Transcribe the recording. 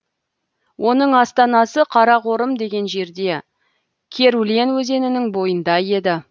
оның астанасы қарақорым деген жерде керулен өзенінің бойында еді